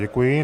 Děkuji.